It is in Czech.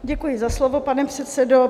Děkuji za slovo, pane předsedo.